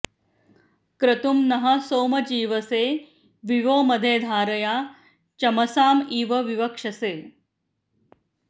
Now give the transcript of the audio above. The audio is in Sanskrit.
क्रतुं नः सोम जीवसे वि वो मदे धारया चमसाँ इव विवक्षसे